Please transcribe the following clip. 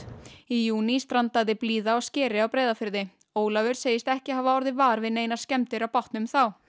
í júní strandaði blíða á skeri á Breiðafirði Ólafur segist ekki hafa orðið var við neinar skemmdir á bátnum þá